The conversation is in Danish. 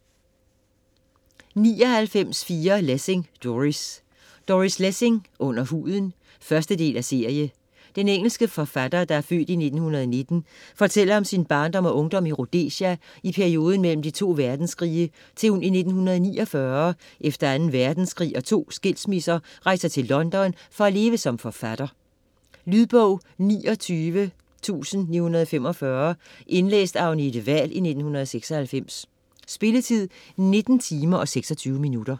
99.4 Lessing, Doris Lessing, Doris: Under huden 1. del af serie. Den engelske forfatter (f. 1919) fortæller om sin barndom og ungdom i Rhodesia i perioden mellem de to verdenskrige til hun i 1949, efter 2. verdenskrig og to skilsmisser rejser til London for at leve som forfatter. Lydbog 29945 Indlæst af Agnete Wahl, 1996. Spilletid: 19 timer, 26 minutter.